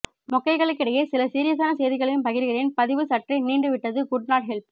மொக்கைகளுக்கிடையே சில சீரியசான செய்திகளையும் பகிர்கிறேன் பதிவு சற்றே நீண்டு விட்டது குட் நாட் ஹெல்ப்